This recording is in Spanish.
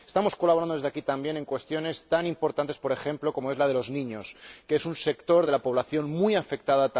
Estamos colaborando desde aquí también en cuestiones tan importantes, por ejemplo, la de los niños, que es un sector de la población muy afectado.